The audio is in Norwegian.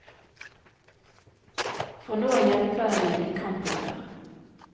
For nå er hjelpepleierne i kamphumør.